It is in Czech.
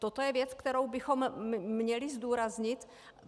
Toto je věc, kterou bychom měli zdůraznit.